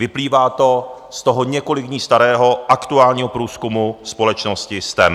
Vyplývá to z toho několik dní starého aktuálního průzkumu společnosti STEM.